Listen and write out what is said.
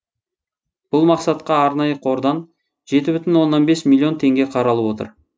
бұл мақсатқа арнайы қордан жеті бүтін оннан бес миллион теңге қаралып отыр